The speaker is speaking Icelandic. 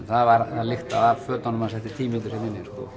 það lyktaði af fötunum hans eftir tíu mínútur hérna